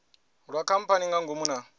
lwa khamphani nga ngomu na